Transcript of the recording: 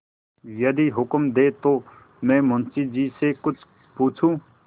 यदि हुक्म दें तो मैं मुंशी जी से कुछ पूछूँ